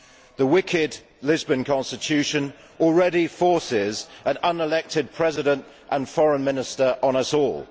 The wicked Lisbon constitution already forces an unelected President and Foreign Minister on us all.